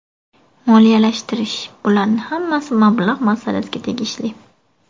Moliyalashtirish Bularni hammasi mablag‘ masalasiga tegishli.